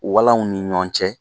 Walanw ni ɲɔn cɛ